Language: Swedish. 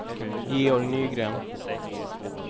Georg Nygren